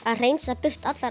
að hreinsa burt allar